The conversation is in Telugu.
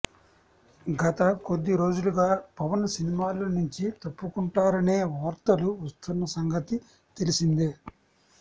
గత కొద్ది రోజులుగా పవన్ సినిమాల నుంచి తప్పుకుంటారనే వార్తలు వస్తున్న సంగతి తెలిసిందే